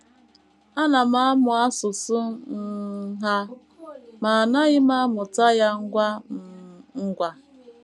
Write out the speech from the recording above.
Ana m amụ asụsụ um ha, ma anaghị m amụta ya ngwa um ngwa.